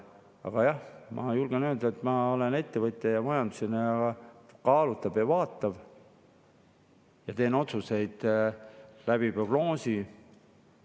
Aga jah, ma julgen öelda, et ma olen ettevõtja ja majandusinimesena kaaluv ja vaatav ja teen otsuseid prognoosi põhjal.